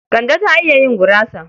Kande ta iya yin gurasa?